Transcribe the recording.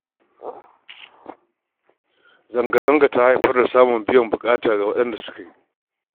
Zanga-zangar ta haifar da samun biyan buƙata ga waɗanda suka yi